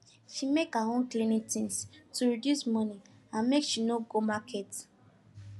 she make her own cleaning things to reduce money and make she no go market